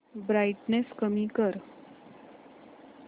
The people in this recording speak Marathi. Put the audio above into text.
ब्राईटनेस कमी कर